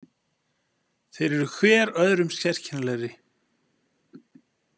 Þeir eru hver öðrum sérkennilegri.